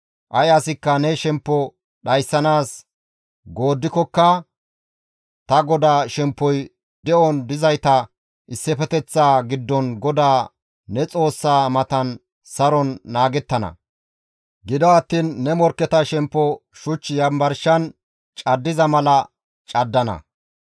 Ay asikka ne shemppo dhayssanaas gooddikokka ta godaa shemppoy de7on dizayta issifeteththaa giddon GODAA ne Xoossaa matan saron naagettana. Gido attiin ne morkketa shemppo shuch yanbarshan caddiza mala caddana.